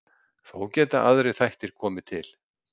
Þó geta aðrir þættir komið til.